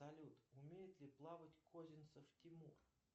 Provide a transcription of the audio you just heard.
салют умеет ли плавать козинцев тимур